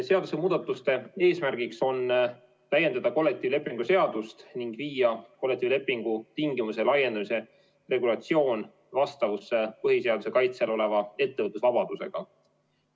Seadusemuudatuste eesmärgiks on täiendada kollektiivlepingu seadust ning viia kollektiivlepingu tingimuste laiendamise regulatsioon vastavusse põhiseaduse kaitse all oleva ettevõtlusvabadusega.